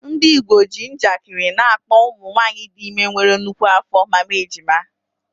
Ndị Igbo ji njakịrị na-akpọ ụmụ nwanyị dị ime nwere nnukwu afọ “Mama Ejima.”